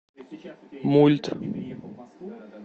мульт